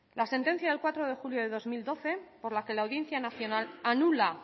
la sentencia del cuatro de julio de dos mil doce por la que la audiencia nacional anula